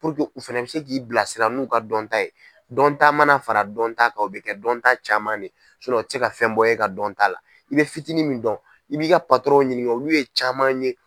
u fana bi se k'i bilasira n'u ka dɔnta ye dɔnta mana fara dɔnta kan o bi kɛ dɔnta caman de ye o ti se ka bɔ e ka dɔnta la i bɛ fitiinin min dɔn i b'i ka ɲininka olu ye caman ye.